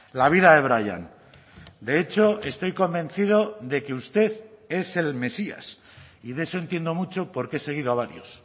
la vida de brian de hecho estoy convencido de que usted es el mesías y de eso entiendo mucho porque he seguido a varios